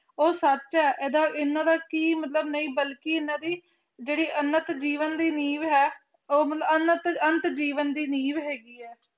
ਉਹ ਸੱਚ ਹੈ ਇਹਨਾਂ ਦਾ ਕੀ ਮਤਲਬ ਕੀ ਕੀ ਹੈਗਾ ਕੀ ਦਾ ਜਿਹੜੀ ਅੰਨਤ ਜੀਵਨ ਦੀ ਨਿਹ ਹੈਗੀ ਐ ਉਹ ਅੰਨਤ ਜੀਵਨ ਦੀ ਨੀਹ ਹੈਗੀ ਐ